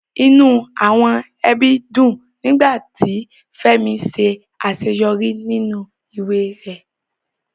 Inú àwọn ẹbí dùn nígbà tí Fẹ́mi ṣe àṣeyọrí nínú ìwé rẹ̀